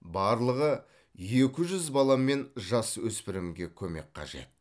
барлығы екі жүз бала мен жасөспірімге көмек қажет